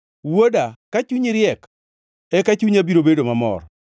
Wuoda, ka chunyi riek, eka chunya biro bedo mamor,